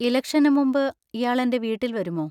ഇലക്ഷന് മുമ്പ് ഇയാൾ എന്‍റെ വീട്ടിൽ വരുമോ?